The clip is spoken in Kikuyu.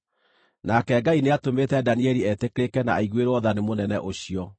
Nake Ngai nĩatũmĩte Danieli etĩkĩrĩke na aiguĩrwo tha nĩ mũnene ũcio,